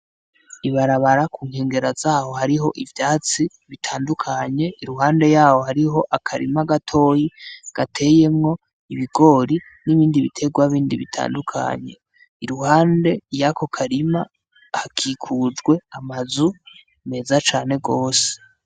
Ibarabara kunkengera zaho hariho ivyatsi bitandukanye, iruhande yaho hariho akarima gatoyi gateyemwo ibigoro n'ibindi bitegwa bitandukanye, iruhande yako karima hakikujwe amazu meza cane.